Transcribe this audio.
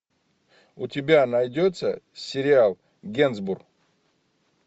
у тебя найдется сериал генсбур